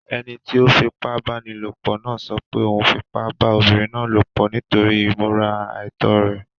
Ẹni tí ó fipábánilòpọ̀ náà sọ pé òun fipá pá obiǹrin náà lòpọ̀ nítorí ìmúra àìtọ́ rẹ̀.